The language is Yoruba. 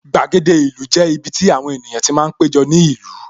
Gbàgede ìlú jẹ́ ibiti àwọn ènìyàn ti máa ń péjọ ní ìlú